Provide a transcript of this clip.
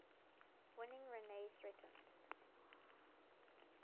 winning rene threatened